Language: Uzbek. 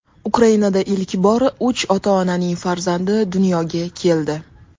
Ukrainada ilk bor uch ota-onaning farzandi dunyoga keldi.